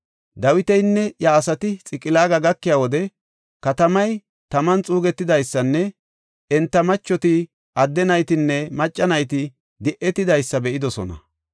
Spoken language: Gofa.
Dawitinne iya asati Xiqilaaga gakiya wode katamay taman xuugetidaysanne enta macheti, adde naytinne macca nayti di7etidaysa be7idosona.